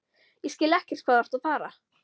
Ég skil ekkert hvað þú ert að fara.